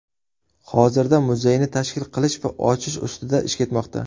Hozirda muzeyni tashkil qilish va ochish ustida ish ketmoqda.